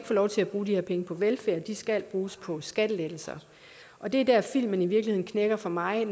få lov til at bruge de her penge på velfærd de skal bruges på skattelettelser og det er der hvor filmen i virkeligheden knækker for mig